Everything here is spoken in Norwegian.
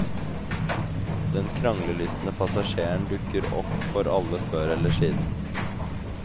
Den kranglelystne passasjeren dukker opp for alle før eller siden.